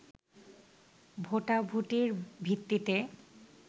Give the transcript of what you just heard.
ভোটাভুটির ভিত্তিতে